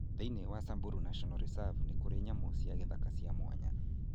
Thĩinĩ wa Samburu National Reserve nĩ kũrĩ nyamũ cia gĩthaka cia mwanya.